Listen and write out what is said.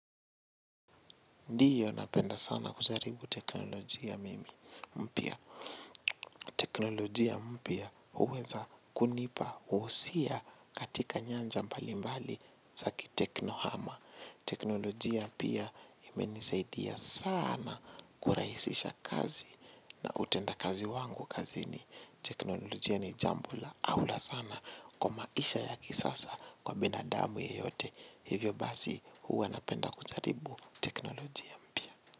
Ndiyo napenda sana kujaribu teknolojia mimi mpia. Teknolojia mpia uweza kunipa, uusia katika nyanja mbali mbali zaki teknohama. Teknolojia pia imeni saidia sana kuraisisha kazi na utenda kazi wangu kazini. Teknolojia ni jambo la. Ahula sana kwa maisha ya kisasa kwa binadamu yeyote. Hivyo basi uwa napenda kujaribu teknolojia mpia.